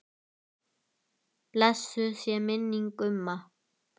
Blessuð sé minning Gumma.